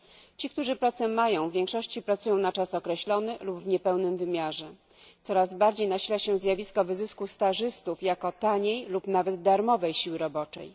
Ci, którzy pracę mają, w większości pracują na czas określony lub w niepełnym wymiarze czasu pracy. Coraz bardziej nasila się zjawisko wyzysku stażystów, jako taniej lub nawet darmowej siły roboczej.